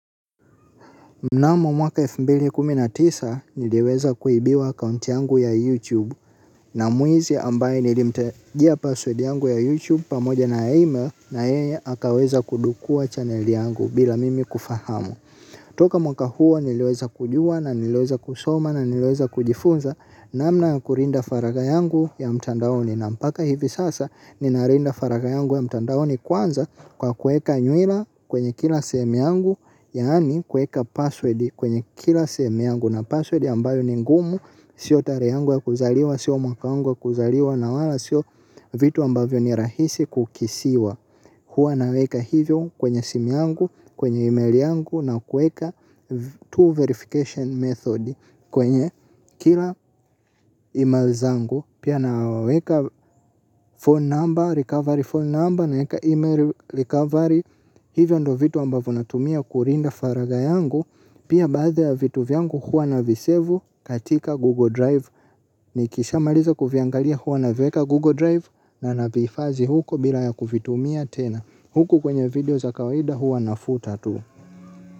Mnamo mwaka elfu mbili kumi na tisa niliweza kuibiwa akaunti yangu ya YouTube na mwizi ambaye nilimtajia password yangu ya YouTube pamoja na ya email na yeye akaweza kudukua channel yangu bila mimi kufahamu. Toka mwaka huo niliweza kujua na niliweza kusoma na niliweza kujifunza namna kulinda faragha yangu ya mtandaoni na mpaka hivi sasa ninalinda faragha yangu ya mtandaoni kwanza kwa kueka nywila kwenye kila sehemu yangu yaani kueka password kwenye kila sehemu yangu na password ambayo ni ngumu sio tarehe yangu ya kuzaliwa sio mwaka wangu ya kuzaliwa na wala sio vitu ambavyo ni rahisi kukisiwa. Huwa naweka hivyo kwenye simu yangu, kwenye email yangu na kueka tool verification method kwenye kila email zangu pia naweka phone number, recovery phone number na eka email recovery hivyo ndo vitu ambavyo natumia kulinda faragha yangu pia baathi ya vitu vyangu huwa na visevu katika google drive. Nikisha malizi kuviangalia huwa navieka Google Drive na navihifadhi huko bila ya kuvitumia tena. Huku kwenye video za kawaida huwa na futa tu.